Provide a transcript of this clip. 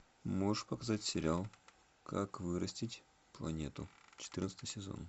можешь показать сериал как вырастить планету четырнадцатый сезон